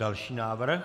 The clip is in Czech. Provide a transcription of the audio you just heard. Další návrh.